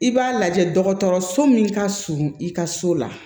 I b'a lajɛ dɔgɔtɔrɔso min ka surun i ka so la